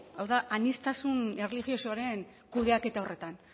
hau da aniztasun erlijiosoaren kudeaketa horretan